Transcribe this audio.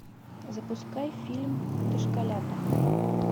запускай фильм дошколята